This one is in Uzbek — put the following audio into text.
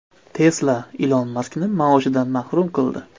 Tesla Ilon Maskni maoshidan mahrum qildi.